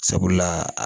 Sabula